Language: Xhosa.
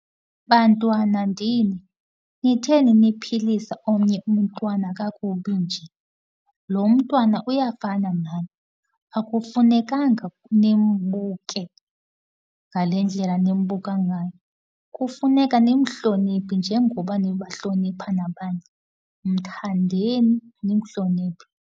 Bantwana ndini, kutheni niphilisa omnye umntwana kakubi nje? Lo mntwana uyafana nani, akufunekanga nimbuke ngale ndlela nimbuka ngayo. Kufuneka nimhloniphe nje ngoba nibahlonipha nabanye. Mthandeni, nimhloniphe.